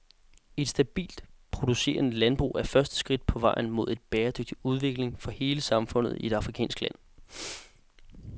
Et stabilt producerende landbrug er første skridt på vejen mod en bæredygtig udvikling for hele samfundet i et afrikansk land.